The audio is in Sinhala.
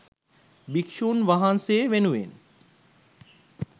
භික්ෂුන් වහන්සේ වෙනුවෙන්